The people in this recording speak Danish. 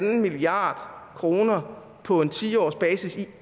en milliard kroner på en ti årsbasis i